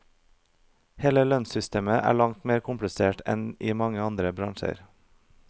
Hele lønnssystemet er langt mer komplisert enn i mange andre bransjer.